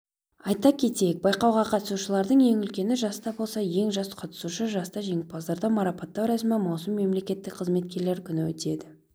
айта кетейік байқауға қатысушылардың ең үлкені жаста болса ең жас қатысушы жаста жеңімпаздарды марапаттау рәсімі маусым мемлекеттік қызметкерлер күні өтеді